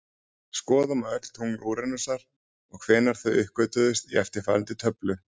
Skoða má öll tungl Úranusar og hvenær þau uppgötvuðust í eftirfarandi töflu: